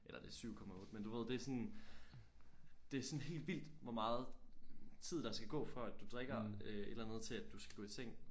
Eller det er 7,8 men du ved det er sådan det er sådan helt vildt hvor meget tid der skal gå før at du drikker øh et eller andet til at du skal gå i seng